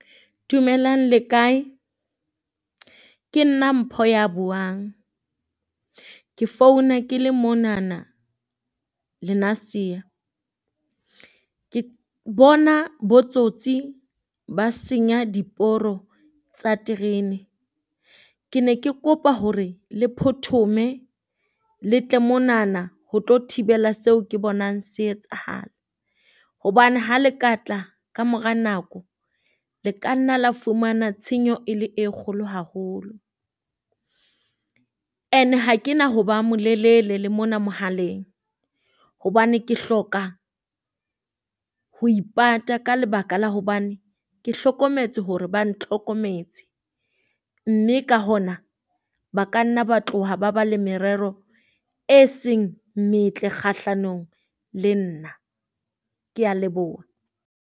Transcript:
Dumelang le kae? Ke nna Mpho ya buang, ke founa ke le monana Lenasia ke bona bo tsotsi ba senya diporo tsa terene. Ke ne ke kopa hore le phothome le tle monana ho tlo thibela seo ke bonang se etsahala. Hobane ha le ka tla kamora nako, le ka nna le fumana tshenyo e le e kgolo haholo. And ha ke na ho ba molelele le mona mohaleng, hobane ke hloka ho ipata ka lebaka la hobane ke hlokometse hore ba ntlhokometse. Mme ka hona ba ka nna ba tloha ba ba le merero e seng metle kgahlanong le nna kea leboha.